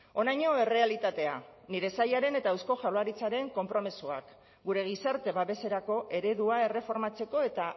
honaino errealitatea nire sailaren eta eusko jaurlaritzaren konpromisoak gure gizarte babeserako eredua erreformatzeko eta